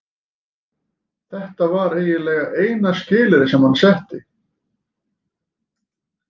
Þetta væri eiginlega eina skilyrðið sem hann setti.